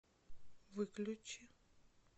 выключи